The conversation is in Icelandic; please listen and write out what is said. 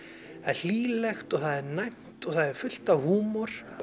hlýlegt og það er næmt það er fullt af húmor